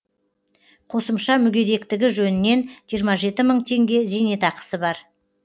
қосымша мүгедектігі жөнінен жиырма жеті мың теңге зейнетақысы бар